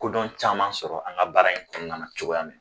Ko dɔn caman sɔrɔ an ka baara in kɔnɔna na cogoya min na